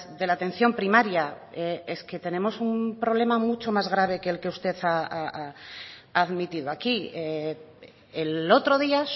de la atención primaria es que tenemos un problema mucho más grave que el que usted ha admitido aquí el otro día